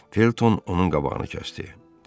Felton onun qabağını kəsdi.